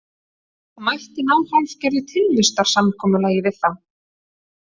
Það mætti ná hálfgerðu tilvistarsamkomulagi við þá.